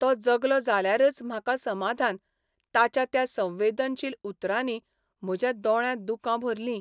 तो जगलो जाल्यारच म्हाका समाधान ताच्या त्या संवेदनशील उतरांनी म्हज्या दोळ्यांत दुकां भरलीं.